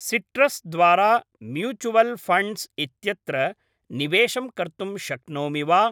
Citrus द्वारा mutual funds इत्यत्र निवेशं कर्तुं शक्नोमि वा?